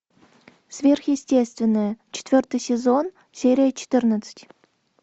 сверхъестественное четвертый сезон серия четырнадцать